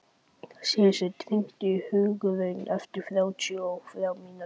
Sigursteinn, hringdu í Hugraun eftir þrjátíu og þrjár mínútur.